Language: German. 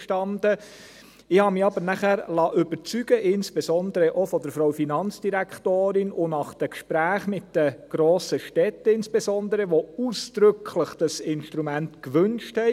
Ich habe mich aber nachher überzeugen lassen, insbesondere auch von Frau Finanzdirektorin und insbesondere nach den Gesprächen mit den grossen Städten, welche dieses Instrument ausdrücklich gewünscht haben;